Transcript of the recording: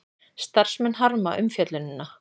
Starfsmenn harma umfjöllunina